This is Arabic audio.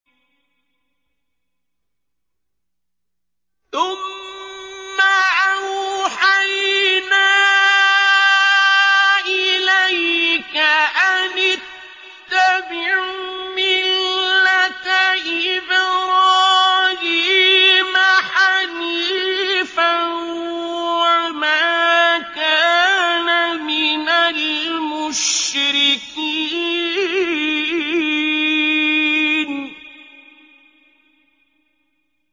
ثُمَّ أَوْحَيْنَا إِلَيْكَ أَنِ اتَّبِعْ مِلَّةَ إِبْرَاهِيمَ حَنِيفًا ۖ وَمَا كَانَ مِنَ الْمُشْرِكِينَ